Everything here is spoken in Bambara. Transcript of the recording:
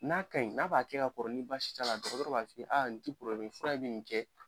N'a ka ɲi n'a b'a kɛ ka kɔrɔ kɔrɔ ni baasi t'a la dɔgɔ b'a f'i ye nin tɛ fura in bɛ nin kɛ